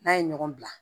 N'a ye ɲɔgɔn bila